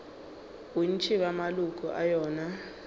bontši bja maloko a yona